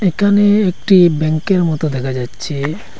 একানে একটি ব্যাঙ্কের মতো দেখা যাচ্ছে।